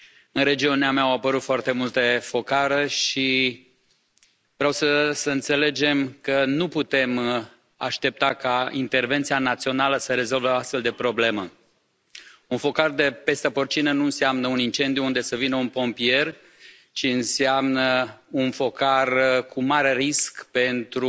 În regiunea mea au apărut foarte multe focare și vreau să înțelegem că nu putem aștepta ca intervenția națională să rezolve o astfel de problemă. Un focar de pestă porcină nu înseamnă un incendiu unde să vină un pompier, ci înseamnă un focar cu mare risc pentru